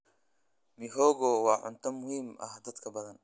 Mihogo waa cunto muhiim ah dadka badan.